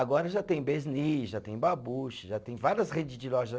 Agora já tem Besni, já tem Babuche, já tem várias redes de lojas.